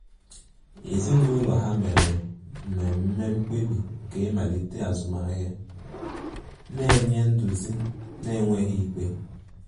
Ezinụlọ ha mere mmeme mkpebi nke imalite azụmahia, na-enye nduzi n'enweghi ikpe.